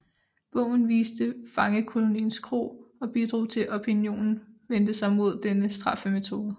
Bogen viste fangekoloniens gru og bidrog til at opinionen vendte sig mod denne straffemetode